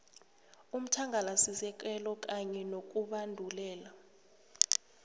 umthangalasisekelo kanye nokubandulelwa